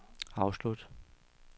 afslut